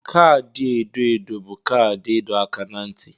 Kaadị edo edo bụ kaadị ịdọ aka ná ntị.